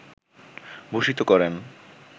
ভূষিত করেন